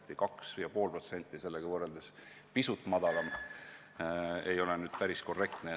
Öelda 2,5% kohta "pisut madalam" ei ole päris korrektne.